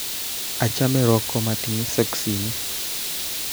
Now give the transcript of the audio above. Achame Rock komatiny soksinik